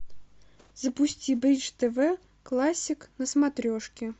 запусти бридж тв классик на смотрешке